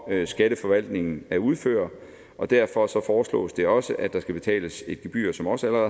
skatteforvaltningen at udføre og derfor foreslås det også at der skal betales et gebyr som også